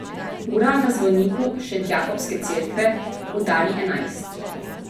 Ura na zvoniku Šentjakobske cerkve udari enajst.